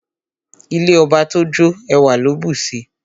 Ilé ọba tó jó, ẹwà ló bùsi.